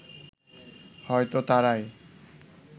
হয়তো তারাই